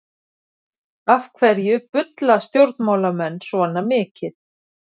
Af hverju bulla stjórnmálamenn svona mikið?